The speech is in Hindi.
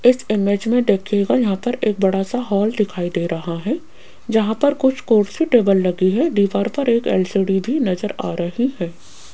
इस इमेज में देखिएगा यहां पर एक बड़ा सा हॉल दिखाई दे रहा है जहां पर कुछ कुर्सी टेबल लगी है दीवार पर एक एल_सी_डी भी नजर आ रही है।